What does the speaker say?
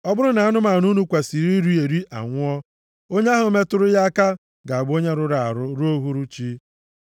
“ ‘Ọ bụrụ na anụmanụ unu kwesiri iri eri anwụọ, onye ahụ metụrụ ya aka ga-abụ onye rụrụ arụ ruo uhuruchi.